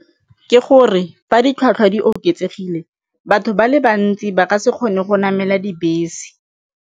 Ke gore fa ditlhwatlhwa di oketsegile, batho ba le bantsi ba ka se kgone go namela dibese.